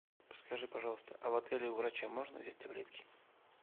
скажи пожалуйста а в отеле у врача можно взять таблетки